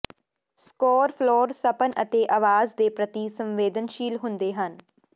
score ਫਲੋਰ ਸਪਨ ਅਤੇ ਆਵਾਜ਼ ਦੇ ਪ੍ਰਤੀ ਸੰਵੇਦਨਸ਼ੀਲ ਹੁੰਦੇ ਹਨ